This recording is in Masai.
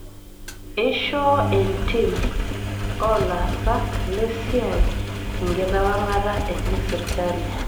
Eishoo entiim oo laasak lesia enkitawang'ata enye sirkali